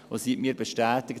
Sie hat mir bestätigt: